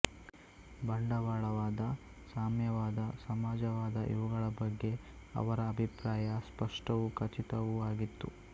ಬಂಡವಾಳವಾದ ಸಾಮ್ಯವಾದ ಸಮಾಜ ವಾದ ಇವುಗಳ ಬಗ್ಗೆ ಅವರ ಅಭಿಪ್ರಾಯ ಸ್ಪಷ್ಟವೂ ಖಚಿತವೂ ಆಗಿತ್ತು